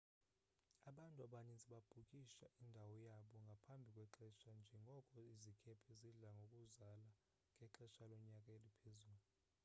abantu abaninzi babhukisha indawo yabo ngaphambi kwexesha njengoko izikhephe zidla ngokuzala ngexesha lonyaka eliphezulu